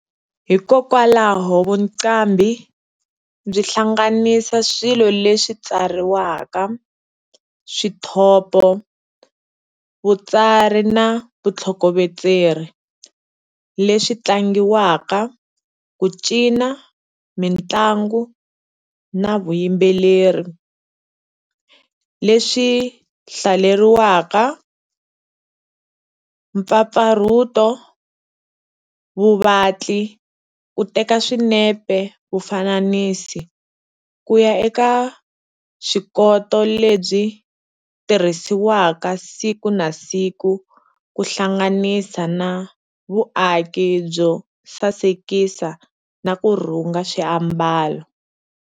Hikokwalaho vuqambi byi hlanganisa swilo leswi tsariwaka, Swithopo Vutsari na Vuthlokovetseri, leswi tlangiwaka, Kucina, Mintlango, na Vuyimbeleri, Leswi hlaleriwaka, mpfapfarhuto, Vuvatli, Ku teka swinepe, Vufanisi, kuya eka vuswikoti lebyi tirhisiwaka siku na siku ku hlanganisa na Vuaki byo sasekisa na ku rhunga swi ambalo.